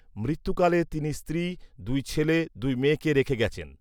মৃত্যুকালে তিনি স্ত্রী, দুই ছেলে, দুই মেয়েকে রেখে গেছেন